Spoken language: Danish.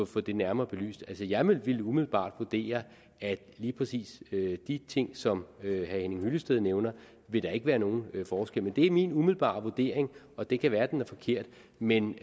få det nærmere belyst altså jeg ville umiddelbart vurdere at i lige præcis de ting som herre henning hyllested nævner vil der ikke være nogen forskel men det er min umiddelbare vurdering og det kan være at den er forkert men